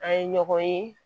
An ye ɲɔgɔn ye